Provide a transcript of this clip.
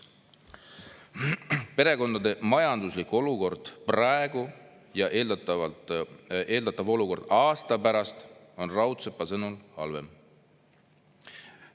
Perekondade majanduslikku olukord praegu ja eeldatav olukord aasta pärast on Raudsepa sõnul halvem.